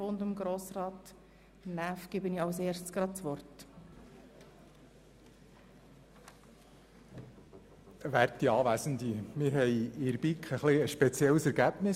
Kommissionspräsident der BiK.Wir hatten in der BiK ein etwas spezielles Ergebnis.